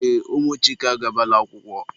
Ee, ụmụ Chike agabala akwụkwọ.